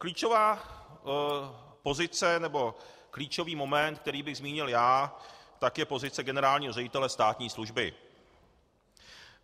Klíčová pozice, nebo klíčový moment, který bych zmínil já, tak je pozice generálního ředitele státní služby.